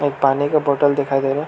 पानी का बोतल दिखाई दे रहा --